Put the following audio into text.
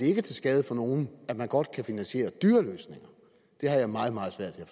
ikke er til skade for nogen at man godt kan finansiere dyre løsninger det har jeg meget meget svært ved